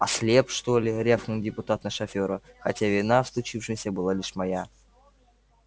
ослеп что ли рявкнул депутат на шофера хотя вина в случившемся была лишь моя